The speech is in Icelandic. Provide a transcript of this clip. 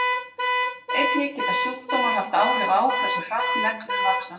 Einnig geta sjúkdómar haft áhrif á hversu hratt neglur vaxa.